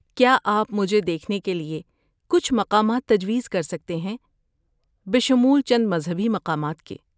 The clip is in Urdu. کیا آپ مجھے دیکھنے کے لیے کچھ مقامات تجویز کر سکتے ہیں، بشمول چند مذہبی مقامات کے؟